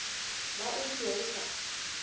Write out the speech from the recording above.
ba o ikwa o sa